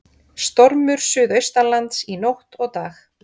Stormur suðaustanlands í nótt og dag